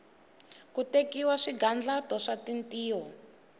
ku tekiwa swigandlato swa tintiho